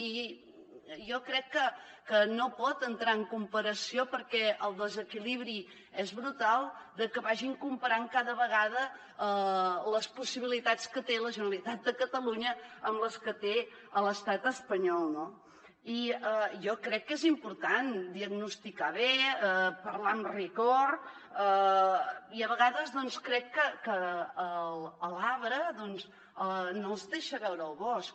i jo crec que no pot entrar en comparació perquè el desequilibri és brutal de que vagin comparant cada vegada les possibilitats que té la generalitat de catalunya amb les que té l’estat espanyol no i jo crec que és important diagnosticar bé parlar amb rigor i a vegades doncs crec que l’arbre no els deixa veure el bosc